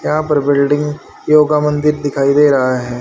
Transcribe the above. यहां पर building yoga मंदिर दिखाई दे रहा है।